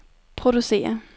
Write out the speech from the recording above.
producere